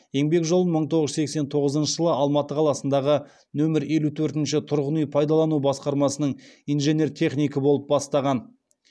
еңбек жолын мың тоғыз жүз сексен тоғызыншы жылы алматы қаласындағы нөмірі елу төртінші тұрғын үй пайдалану басқармасының инженер технигі болып бастаған